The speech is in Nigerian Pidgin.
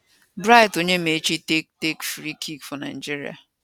bright onyemachi take take free kick for nigeria